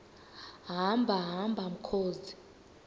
hamba hamba mkhozi